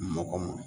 Mɔgɔ ma